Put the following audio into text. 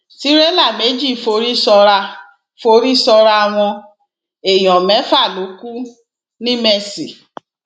tìrẹlà méjì forí sọràá forí sọràá wọn èèyàn mẹfà ló kù ńìmesì